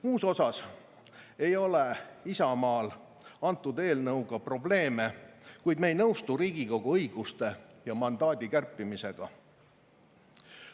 Muus osas ei ole Isamaal selle eelnõuga probleeme, kuid me ei nõustu Riigikogu õiguste ja mandaadi kärpimisega.